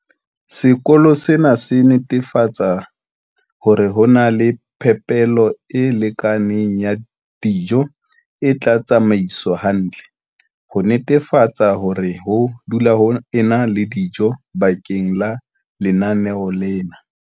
Sekolo sena se netefatsa hore ho na le phepelo e lekaneng ya dijo e tla tsamaiswa hantle, ho netefatsa hore ho dula ho ena le dijo bakeng la lenaneo lena.